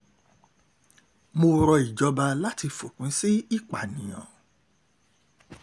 mo rọ ìjọba láti fòpin sí ìpànìyàn